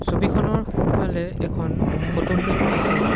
ছবিখনৰ সোঁফালে এখন ফটো ফ্ৰেম আছে।